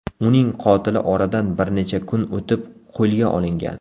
Uning qotili oradan bir necha kun o‘tib qo‘lga olingan.